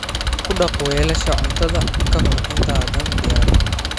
Ku dhaq weelasha cuntada ka hor intaadan diyaarin.